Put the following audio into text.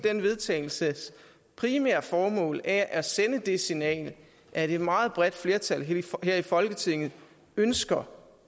den vedtagelses primære formål er at sende det signal at et meget bredt flertal her her i folketinget ønsker